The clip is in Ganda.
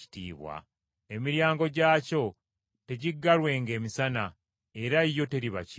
Emiryango gyakyo tegiggalwenga emisana, era yo teriba kiro.